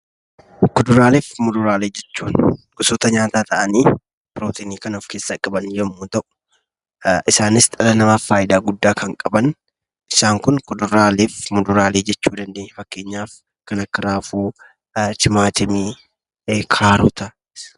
Kuduraalee fi muduraalee jechuun gosoota nyaataa ta'anii pirootinii kan of keessaa qaban yommuu ta'u, isaaniis dhala namaaf faayidaa guddaa kan qabanidha. Fakkeenyaaf: raafuu, timaatimii, kaarotaa fi kan kana fakkaatan.